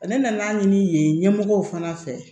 Ne nan'a ɲini yen ɲɛmɔgɔw fana fɛ